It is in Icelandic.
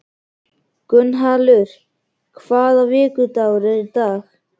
Gunnhallur, hvaða vikudagur er í dag?